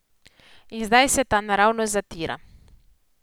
In zdaj se ta naravnost zatira.